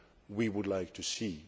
we would like to see.